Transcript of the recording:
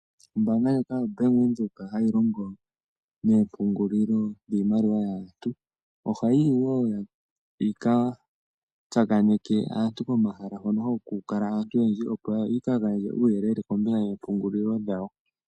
Ombanga ndjoka yobank widhoek hayi longo nomapungulilo giimaliwa yantu oha yiyi wo yika tsakaneke aantu pomahala mpoka hapu kala aantu oyendji opo ya gandje uuyelele kombinga yompugulilo dhawo.